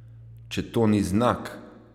Če to ni znak!